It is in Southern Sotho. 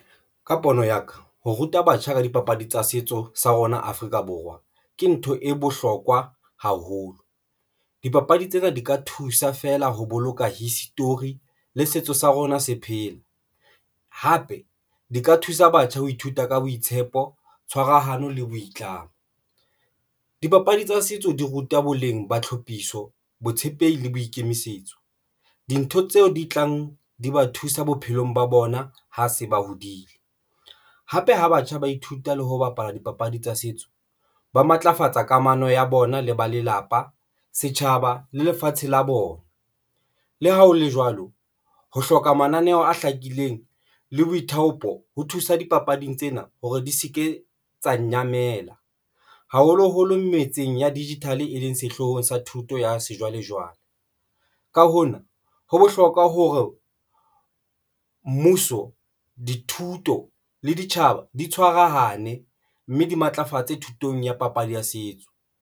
Ka pono ya ka ho ruta batjha ka dipapadi tsa setso sa rona Afrika Borwa ke ntho e bohlokwa haholo. Dipapadi tsena di ka thusa feela ho boloka history le setso sa rona se phela, hape di ka thusa batjha ho ithuta ka boitshepo, tshwarahano le boitlamo. Dipapadi tsa setso di ruta boleng ba tlhophiso, botshepehi le boikemisetso. Dintho tseo di tlang di ba thusa bophelong ba bona ha se ba hodile hape ha batjha ba ithuta le ho bapala dipapadi tsa setso, ba matlafatsa kamano ya bona le ba lelapa setjhaba le lefatshe la bona. Le ha hole jwalo, ho hloka mananeo a hlakileng le boithaopo ho thusa dipapading tsena hore di se ke tsa nyamela, haholoholo metseng ya digital, e leng sehloohong sa thuto ya sejwalejwale. Ka hona ho bohlokwa hore mmuso, dithuto le ditjhaba di tshwarahane mme di matlafatse thutong ya papadi ya setso.